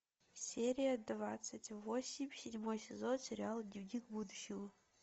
серия двадцать восемь седьмой сезон сериала дневник будущего